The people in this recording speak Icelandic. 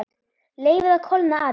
Leyfið að kólna aðeins.